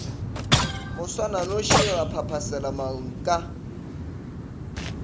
moswananoši ra phaphasela marung ka